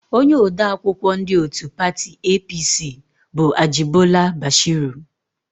Onye odeakwụkwọ ndị òtù pati EePiiSii bụ Ajịbọla Bashiru.